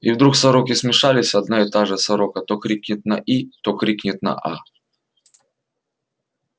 и вдруг сороки смешались одна и та же сорока то крикнет на и то крикнет на а